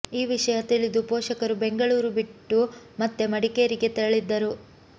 ಈ ವಿಷಯ ತಿಳಿದು ಪೋಷಕರು ಬೆಂಗಳೂರು ಬಿಟ್ಟು ಮತ್ತೆ ಮಡಿಕೇರಿಗೆ ತೆರಳಿದ್ದರು